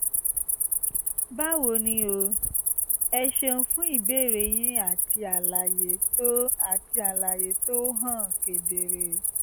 báwo ni o? ẹ ṣeun fún ìbéèrè yín àti àlàyé tó àti àlàyé tó hàn kedere